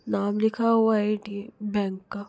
नाम लिख हुआ है ए_ टी बैंक का--